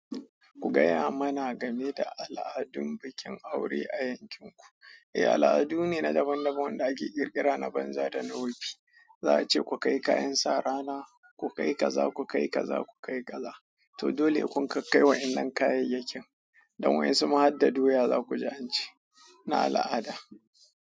Ku gaya mana game da al'adun bukin aure a yankinku. Eh, al'adu ne na daban-daban wadda ake ƙirƙira na banza da na wofi. Za a ce ku kai kayan sa rana, ku kai kaza, ku kai kaza, ku kai kaza. To dole he kun kai wa'innan kayayyakin, don wa in su ma hadda doya za ku ji ance. Na al'ada.